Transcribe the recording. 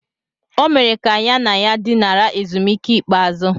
O mere ka ya na ya dinara ezumike ikpeazụ.